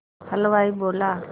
हलवाई बोला